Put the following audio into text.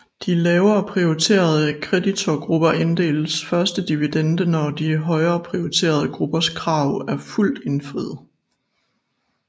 De lavere prioriterede kreditorgrupper tildeles først dividende når de højere prioriterede gruppers krav er fuldt indfriet